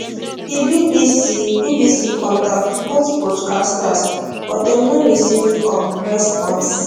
di bbc bbc contact both broadcasters but dem no receive um response